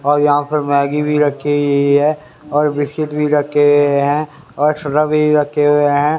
और यहां पर मैगी भी रखी हुई है और बिस्किट भी रखे हुए हैं और रखे हुए हैं।